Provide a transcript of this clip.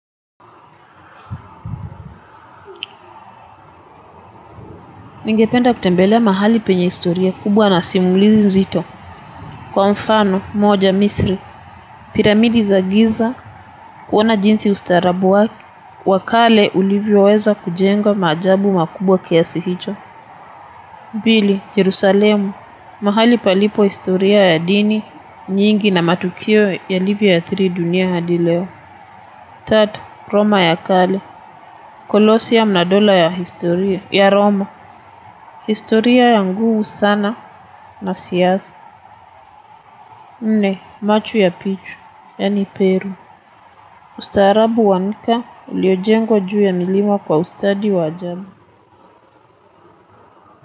Ningependa kutembelea mahali penye historia kubwa na simulizi nzito. Kwa mfano, moja misri, piramidi za giza, kuona jinsi ustaraabu wa, wakale ulivyo weza kujengwa maajabu makubwa kiasi hicho. Pili, Jerusalemu, mahali palipo historia ya dini, nyingi na matukio ya livyo athiri dunia hadi leo. Tatu, Roma ya kale. Kolosium nadola ya historia. Ya Roma. Historia ya nguhu sana na siasa. Nne, machu ya pichu. Yani Peru. Ustaarabu wa nika. Uliojengwa juu ya miliwa kwa ustadi wa ajabu.